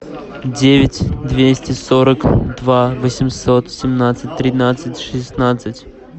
девять двести сорок два восемьсот семнадцать тринадцать шестнадцать